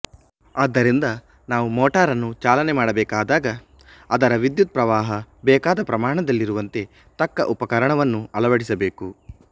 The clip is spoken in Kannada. ಆದ್ದರಿಂದ ನಾವು ಮೋಟಾರನ್ನು ಚಲನೆ ಮಾಡಬೇಕಾದಾಗ ಅದರ ವಿದ್ಯುತ್ ಪ್ರವಾಹ ಬೇಕಾದ ಪ್ರಮಾಣದಲ್ಲಿರುವಂತೆ ತಕ್ಕ ಉಪಕರಣವನ್ನು ಅಳವಡಿಸಬೇಕು